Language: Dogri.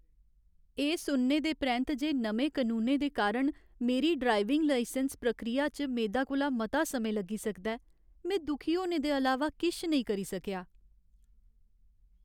एह् सुनने दे परैंत्त जे नमें कनूनें दे कारण मेरी ड्राइविंग लाइसैंस प्रक्रिया च मेदा कोला मता समां लग्गी सकदा ऐ, में दुखी होने दे अलावा किश नेईं करी सकेआ।